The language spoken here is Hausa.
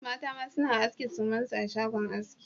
Mata ma suna aske sumansu a shagon aski